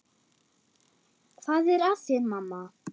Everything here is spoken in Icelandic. Hvað er að þér, mamma?